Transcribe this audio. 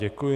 Děkuji.